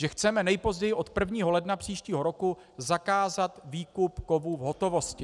Že chceme nejpozději od 1. ledna příštího roku zakázat výkup kovů v hotovosti.